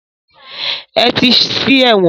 Ẹ ti sí ẹ̀wọ̀n!